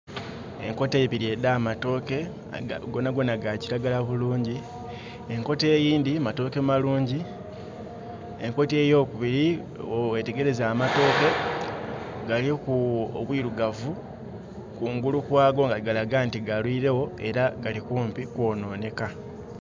Enkota ibiri edha matooke, gonagona ga kiragala bulungi. Enkota eyindi matooke malungi. Enkota eyo kubiri, wewetegereza amatooke galiku obwirugavu kungulu kwago nga galaga nti galwirewo era gali kumpi kwononeka